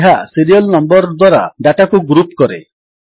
ଏହା serial number ଦ୍ୱାରା ଡାଟାକୁ ଗ୍ରୁପ୍ କରେ